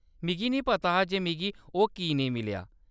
मिगी नेईं पता हा जे मिगी ओह्‌‌ की नेईं मिलेआ।